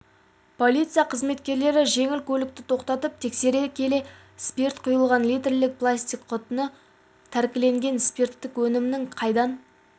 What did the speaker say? полиция қызметкерлері жеңіл көлікті тоқтатып тексере келе спирт құйылған литрлік пластик құтыны тәркілеген спирттік өнімнің қайдан